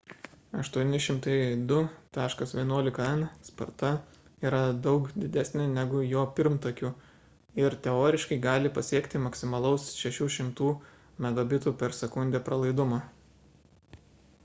802.11n sparta yra daug didesnė negu jo pirmtakių ir teoriškai gali pasiekti maksimalaus 600 mbit/s pralaidumo